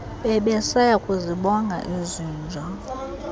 bebesaya kuzibonga izinja